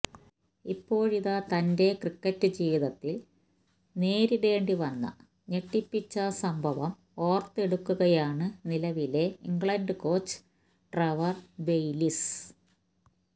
ഇപ്പോഴിതാ തന്റെ ക്രിക്കറ്റ് ജീവിതത്തില് നേരിടേണ്ടി വന്ന ഞെട്ടിപ്പിച്ച സംഭവം ഓര്ത്തെടുക്കുകയാണ് നിലവിലെ ഇംഗ്ലണ്ട് കോച്ച് ട്രെവര് ബെയിലിസ്സ്